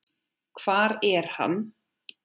Hvar er hann?